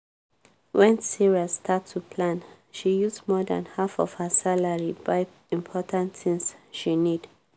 when sarah start to plan she use more than half of her salary buy important tins she need.